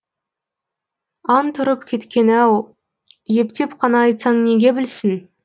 ант ұрып кеткен ау ептеп қана айтсаң неге білсін